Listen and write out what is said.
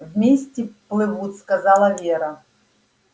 вместе плывут сказала вера